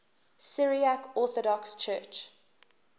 syriac orthodox church